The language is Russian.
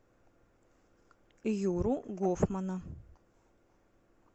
юру гофмана